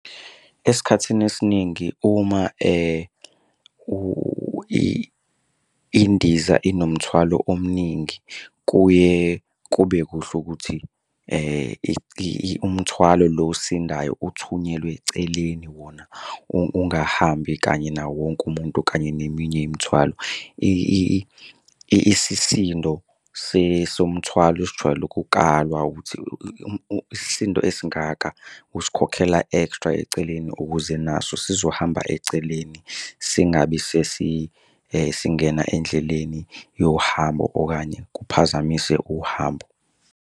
Esikhathini esiningi uma indiza inomthwalo omningi, kuye kube kuhle ukuthi umthwalo lo osindayo uthunyelwe eceleni wona, ungahambi kanye nawo wonke umuntu kanye neminye imithwalo. Isisindo somthwalo sijwayele ukukalwa ukuthi isisindo esingaka usikhokhela extra eceleni ukuze naso sizohamba eceleni. Singabi sesi singena endleleni yohambo okanye kuphazamise uhambo.